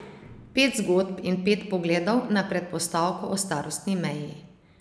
Pet zgodb in pet pogledov na predpostavko o starostni meji.